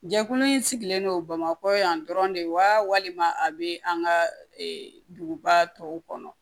Jɛkulu in sigilen don bamakɔ yan dɔrɔn de wa walima a bɛ an ka duguba tɔw kɔnɔ